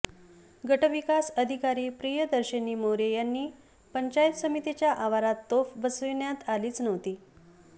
गटविकास अधिकारी प्रियदर्शनी मोरे यांनी पंचायत समितीच्या आवारात तोफ बसविण्यात आलीच नव्हती